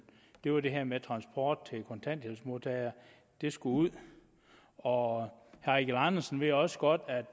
det var det her med transport til kontanthjælpsmodtagere det skulle ud og herre eigil andersen ved også godt at